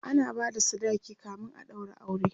ana bada sadaki kamin a ɗaura aure